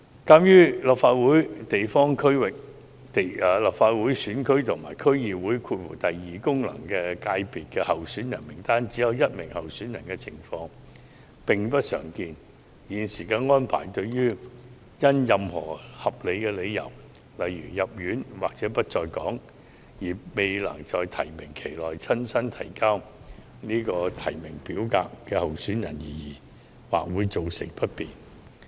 鑒於立法會地方選區及區議會功能界別候選人名單上只有一名候選人的情況並不常見，現時安排對因任何合理理由，如住院或不在港，未能在提名期內親身提交提名表格的候選人或會造成不便。